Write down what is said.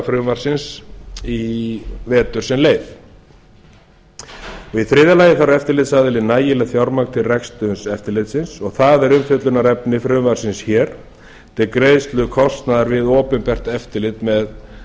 viðurlagafrumvarpsins í vetur sem leið í þriðju lagi fær eftirlitsaðilinn nægilegt fjármagn til reksturs eftirlitsins og það er umfjöllunarefni frumvarpsins hér við greiðslu kostnaðar við opinbert eftirlit með